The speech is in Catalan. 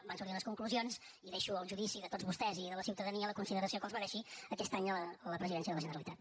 en van sortir unes conclusions i deixo al judici de tots vostès i de la ciutadania la consideració que els mereixi aquest any la presidència de la generalitat